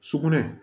Sugunɛ